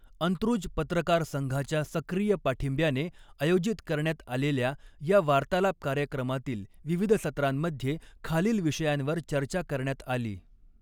अंत्रुज पत्रकार संघाच्या सक्रीय पाठींब्याने आयोजित करण्यात आलेल्या या वार्तालाप कार्यक्रमातील विविध सत्रांमध्ये खालील विषयांवर चर्चा करण्यात आली